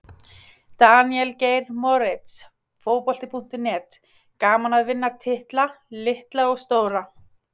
Daníel Geir Moritz, Fótbolti.net: Gaman að vinna titla, litla og stóra.